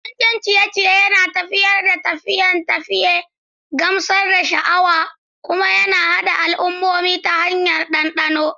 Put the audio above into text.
Abincin ciye-ciye yana tafiyar da tafiye-tafiye, gamsar da sha'awa, kuma yana haɗa al'ummomi ta hanyar dandano.